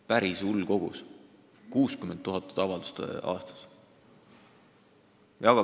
Päris hull kogus – 60 000 avaldust aastas!